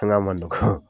man nɔgɔ